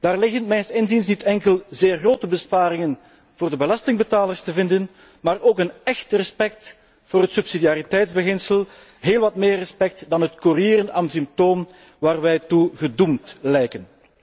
Daar zijn mijns inziens niet enkel zeer grote besparingen voor de belastingbetalers te vinden, maar ook een echt respect voor het subsidiariteitsbeginsel, heel wat meer respect dan het kurieren am Symptom waartoe wij gedoemd lijken.